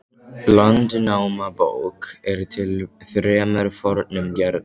Landnámabók er til í þremur fornum gerðum.